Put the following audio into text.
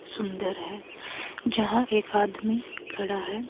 सुंदर है जहां एक आदमी खड़ा है।